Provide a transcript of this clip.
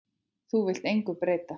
Þú vilt engu breyta.